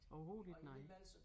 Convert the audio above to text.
Overhovedet ikke nej